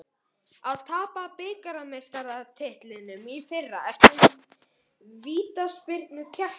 Að tapa bikarmeistaratitlinum í fyrra eftir vítaspyrnukeppni